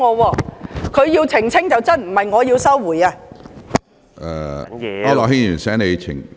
是他要澄清才對，並非我要收回言論。